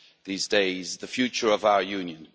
these days the future of our Union.